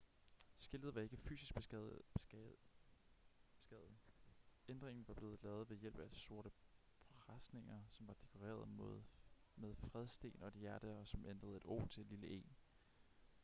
skiltet var ikke fysisk beskadiget ændringen var blevet lavet ved hjælp af sorte presenninger som var dekoreret med fredstegn og et hjerte og som ændrede et o til et lille e